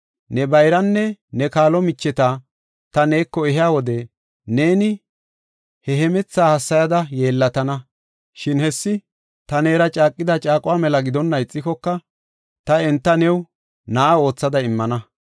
Ne bayranne ne kaalo micheta ta neeko ehiya wode neeni ne hemethaa hassayada yeellatana. Shin hessi ta neera caaqida caaquwa mela gidonna ixikoka, ta enta new na7a oothada immana.